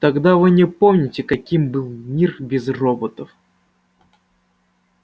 тогда вы не помните каким был мир без роботов